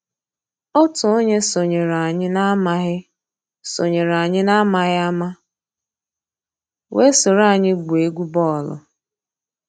Ótú ónyé sonyééré ànyị́ n'àmàghị́ sonyééré ànyị́ n'àmàghị́ àmá weé sòró ànyị́ gwúó égwu bọ́ọ̀lụ́.